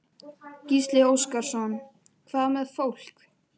Gísli Óskarsson: Hvað með fólk?